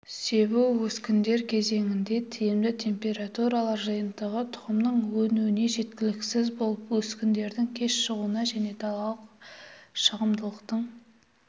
себу-өскіндер кезеңінде тиімді температуралар жиынтығы тұқымның өнуіне жеткіліксіз болып өскіндердің кеш шығуына және далалық шығымдылықтың